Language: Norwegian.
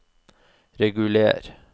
reguler